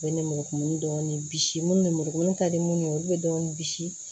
Bɛ ni muru kumuni dɔɔni bisi minnu ni muru ka di minnu ye olu bɛ dɔɔni bisi